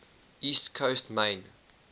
east coast maine